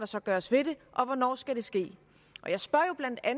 så gøres ved det og hvornår skal det ske